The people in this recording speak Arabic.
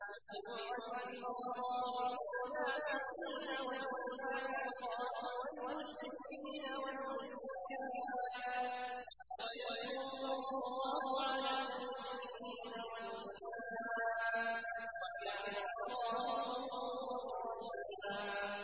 لِّيُعَذِّبَ اللَّهُ الْمُنَافِقِينَ وَالْمُنَافِقَاتِ وَالْمُشْرِكِينَ وَالْمُشْرِكَاتِ وَيَتُوبَ اللَّهُ عَلَى الْمُؤْمِنِينَ وَالْمُؤْمِنَاتِ ۗ وَكَانَ اللَّهُ غَفُورًا رَّحِيمًا